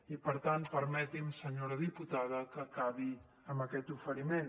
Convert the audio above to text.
i per tant permeti’m senyora diputada que acabi amb aquest oferiment